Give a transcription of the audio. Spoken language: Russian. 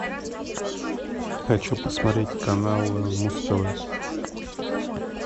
хочу посмотреть канал муз тв